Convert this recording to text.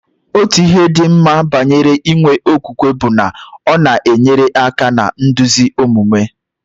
Otu ihe dị mma banyere inwe okwukwe bụ na ọ na-enyere aka na nduzi omume.